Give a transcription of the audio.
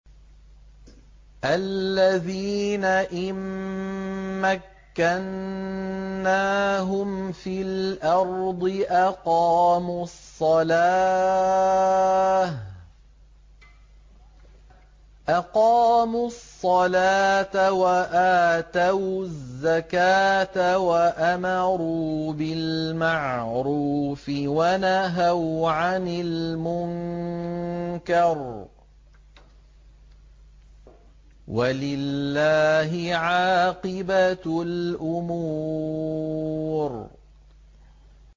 الَّذِينَ إِن مَّكَّنَّاهُمْ فِي الْأَرْضِ أَقَامُوا الصَّلَاةَ وَآتَوُا الزَّكَاةَ وَأَمَرُوا بِالْمَعْرُوفِ وَنَهَوْا عَنِ الْمُنكَرِ ۗ وَلِلَّهِ عَاقِبَةُ الْأُمُورِ